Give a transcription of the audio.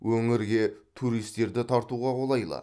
өңірге туристерді тартуға қолайлы